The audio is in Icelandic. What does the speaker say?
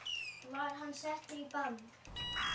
Var hann settur í bann?